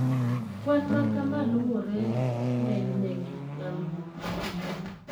Kwan makama luwore ng`enyne gi lalruok ma timore.